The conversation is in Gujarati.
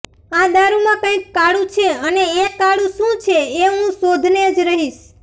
આ દારૂમાં કંઈક કાળુ છે અને એ કાળુ શું છે એ હું શોધને જ રહીશ